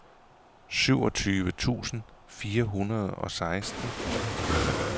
syvogtyve tusind fire hundrede og seksten